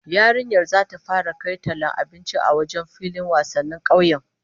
Yarinyar zata fara kai tallar abinci a wajen filin wasannin kauyen